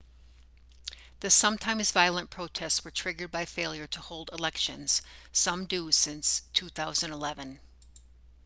the sometimes-violent protests were triggered by failure to hold elections some due since 2011